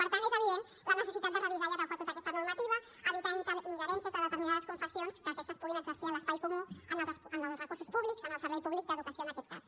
per tant és evident la necessitat de revisar i adequar tota aquesta normativa evitar ingerències de determinades confessions que aquestes puguin exercir en l’espai comú en els recursos públics en el servei públic d’educació en aquest cas